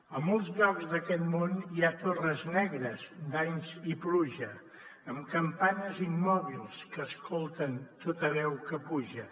a molts llocs d’aquest món hi ha torres negres d’anys i pluja amb campanes immòbils que escolten tota veu que puja